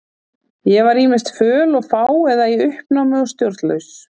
Ég var ýmist föl og fá eða í uppnámi og stjórnlaus.